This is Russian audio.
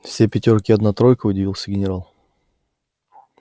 все пятёрки и одна тройка удивился генерал